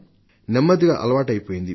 మెల్లగా అది అలవాటైపోయింది